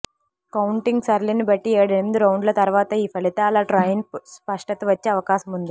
counting సరళిని బట్టి ఏడెనిమిది రౌండ్ల తర్వాత ఈ ఫలితాల ట్రెండ్పై స్పష్టత వచ్చే అవకాశముంది